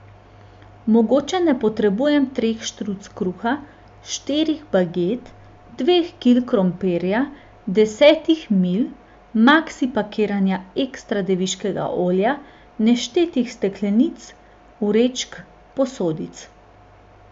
Mogoče ne potrebujem treh štruc kruha, štirih baget, dveh kil krompirja, desetih mil, maksi pakiranja ekstra deviškega olja, neštetih steklenic, vrečk, posodic.